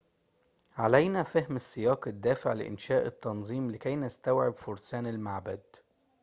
علينا فهم السياق الدافع لإنشاء التنظيم لكي نستوعب فرسان المعبد